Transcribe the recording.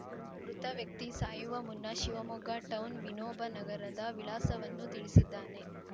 ಮೃತ ವ್ಯಕ್ತಿ ಸಾಯುವ ಮುನ್ನ ಶಿವಮೊಗ್ಗ ಟೌನ್‌ ವಿನೋಬನಗರದ ವಿಳಾಸವನ್ನು ತಿಳಿಸಿದ್ದಾನೆ